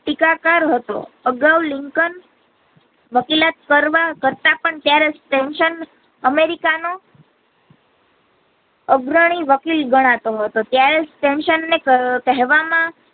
ટીકા કાર હતો અગાવ લિંકન વકીલાત કરવા કરતા ત્યારે પણ ત્યારે સેમસન અમેરિકા નો અગ્રણી વકીલ ગણાતો હતો ત્યારે સેમસને કહેવા માં.